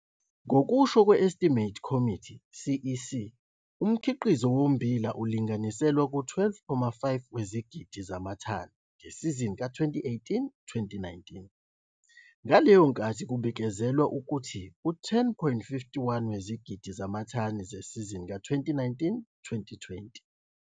Ngokusho kwe-Estimates Committee, CEC, umkhiqizo wommbila ulinganiselwa ku-12,5 wezigidi zamathani ngesizini ka-2018, 2019, ngeleyo nkathi kubikezelwa ukuba u-10,51 wezigidi zamathani zesizini ka-2019, 2020.